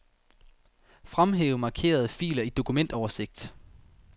Fremhæv markerede filer i dokumentoversigt.